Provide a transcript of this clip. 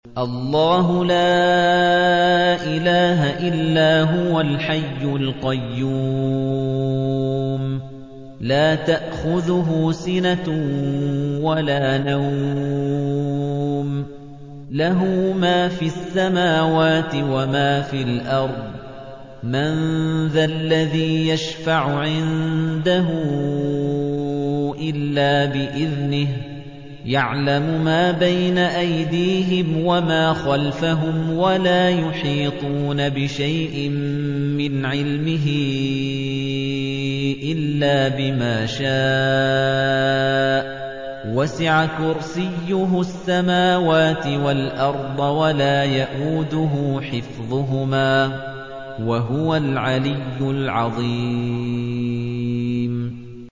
اللَّهُ لَا إِلَٰهَ إِلَّا هُوَ الْحَيُّ الْقَيُّومُ ۚ لَا تَأْخُذُهُ سِنَةٌ وَلَا نَوْمٌ ۚ لَّهُ مَا فِي السَّمَاوَاتِ وَمَا فِي الْأَرْضِ ۗ مَن ذَا الَّذِي يَشْفَعُ عِندَهُ إِلَّا بِإِذْنِهِ ۚ يَعْلَمُ مَا بَيْنَ أَيْدِيهِمْ وَمَا خَلْفَهُمْ ۖ وَلَا يُحِيطُونَ بِشَيْءٍ مِّنْ عِلْمِهِ إِلَّا بِمَا شَاءَ ۚ وَسِعَ كُرْسِيُّهُ السَّمَاوَاتِ وَالْأَرْضَ ۖ وَلَا يَئُودُهُ حِفْظُهُمَا ۚ وَهُوَ الْعَلِيُّ الْعَظِيمُ